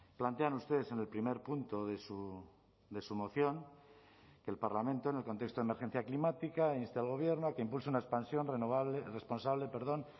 plantean ustedes en el primer punto de su moción que el parlamento en el contexto de emergencia climática inste al gobierno a que impulse una expansión renovable responsable perdón